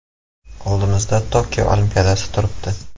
Oldimizda Tokio Olimpiadasi turibdi.